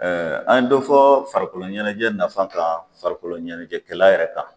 Ɛɛ an ye dɔ fɔ farikoloɲɛnɛjɛ nafa kan farikoloɲɛnɛjɛkɛla yɛrɛ kan